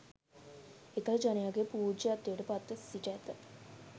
එකල ජනයාගේ පූජ්‍යත්වයට පත්ව සිට ඇත.